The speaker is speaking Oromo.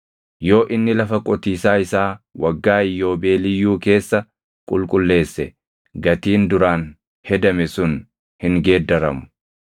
Yoo inni lafa qotiisaa isaa Waggaa Iyyoobeeliyyuu keessa qulqulleesse gatiin duraan hedame sun hin geeddaramu.